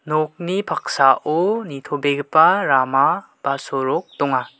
nokni paksao nitobegipa rama ba sorok donga.